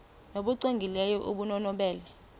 nbu cwengileyo obunobubele